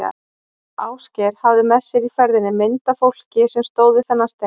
Ásgeir hafði með sér í ferðinni mynd af fólki sem stóð við þennan stein.